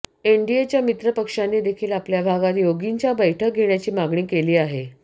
एनडीएच्या मित्रपक्षांनी देखील आपल्या भागात योगींच्या बैठक घेण्याची मागणी केली आहे